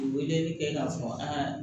Weleli kɛ k'a fɔ aa